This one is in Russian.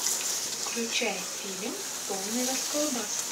включай фильм полный расколбас